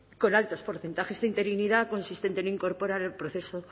con altos porcentajes de interinidad consistente en incorporar el proceso